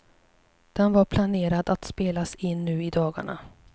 Den var planerad att spelas in nu i dagarna.